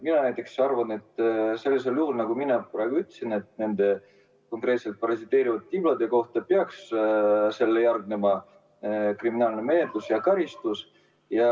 Mina näiteks arvan, et sellisel juhul, nagu ma enne ütlesin nende parasiteerivate tiblade kohta, peaks järgnema kriminaalmenetlus ja karistus.